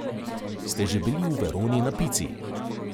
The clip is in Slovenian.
Ste že bili v Veroni na pici?